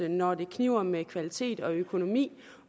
når det kniber med kvalitet og økonomi